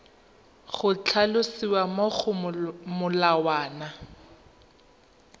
go tlhalosiwa mo go molawana